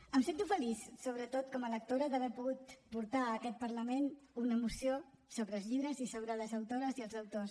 em sento feliç sobretot com a lectora d’haver pogut portar a aquest parlament una moció sobre els llibres i sobre les autores i els autors